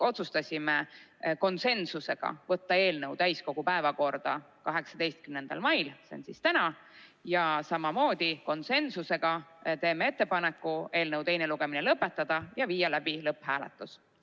Otsustasime konsensusega võtta eelnõu täiskogu päevakorda 18. maiks, see on täna, ning samamoodi konsensusega teeme ettepaneku eelnõu teine lugemine lõpetada ja viia läbi lõpphääletus.